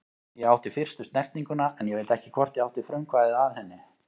Ég átti fyrstu snertinguna en ég veit ekki hvort ég átti frumkvæðið að henni.